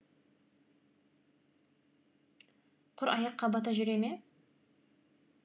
құр аяққа бата жүре ме